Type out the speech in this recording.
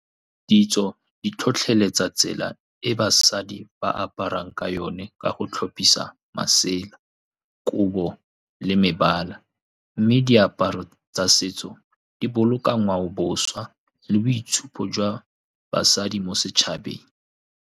Ditso di tlhotlheletsa tsela e basadi ba aparang ka yone ka go tlhophisa masela, kobo le mebala. Mme diaparo tsa setso di boloka ngwaoboswa le boitshupo jwa basadi mo setšhabeng.